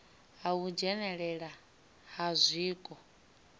ha u dzhenelelana ha zwiko